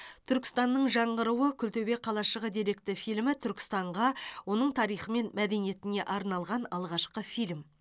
түркістанның жаңғыруы күлтөбе қалашығы деректі фильмі түркістанға оның тарихы мен мәдениетіне арналған алғашқы фильм